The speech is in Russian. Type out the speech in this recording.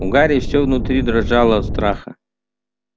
у гарри все внутри дрожало от страха